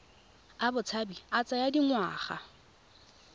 a botshabi a tsaya dingwaga